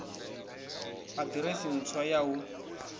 ha ḓiresi ntswa ya hu